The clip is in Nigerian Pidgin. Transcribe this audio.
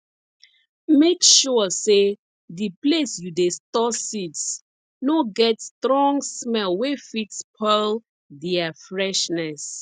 make sure say the place you dey store seeds no get strong smell wey fit spoil their freshness